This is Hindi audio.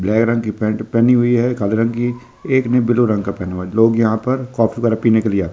ब्लैक रंग की पैंट पहनी हुई है काले रंग की एक ने ब्लू रंग का पहना हुआ है लोग यहाँ पर कॉफ़ी वगैरह पीने के लिए आते हैं।